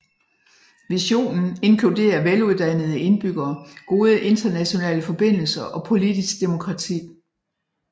Visionen inkluderer veluddannede indbyggere gode internationale forbindelser og politisk demokrati